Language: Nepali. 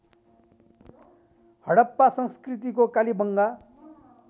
हडप्पा संस्कृतिको कालीबंगा